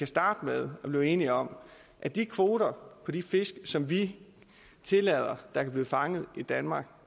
starte med at blive enige om at de kvoter på de fisk som vi tillader der kan blive fanget i danmark